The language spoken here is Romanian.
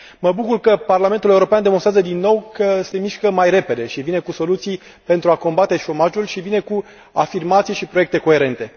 Mă bucur că Parlamentul European demonstrează, din nou, că se mișcă mai repede și vine cu soluții pentru a combate șomajul, și vine cu afirmații și proiecte coerente.